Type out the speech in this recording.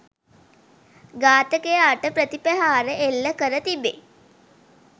ඝාතකයාට ප්‍රතිප්‍රහාර එල්ල කර තිබේ